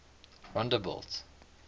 rondebult